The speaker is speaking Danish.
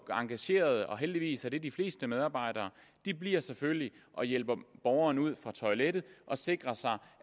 og engagerede heldigvis er det de fleste medarbejdere bliver selvfølgelig og hjælper borgeren ud fra toilettet og sikrer sig